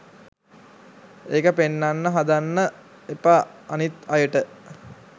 ඒක පෙන්නන්න හදන්න එපා අනිත් අයට.